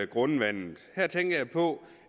grundvandet her tænker jeg på